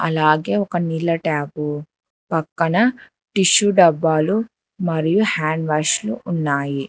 అలాగే ఒక నీళ్ల ట్యాప్ పక్కన టిష్యూ డబ్బాలు మరియు హ్యాండ్వాష్ లు ఉన్నాయి.